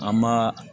An ma